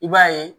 I b'a ye